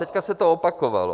Teď se to opakovalo.